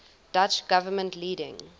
dutch government leading